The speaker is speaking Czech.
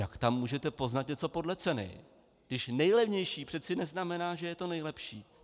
Jak tam můžete poznat něco podle ceny, když nejlevnější přece neznamená, že je to nejlepší?